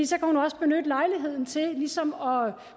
så kan hun også benytte lejligheden til ligesom